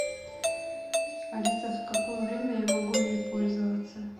алиса в какое время я могу ими пользоваться